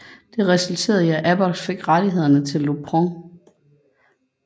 Det resulterede i at Abbott fik rettighederne til Lupron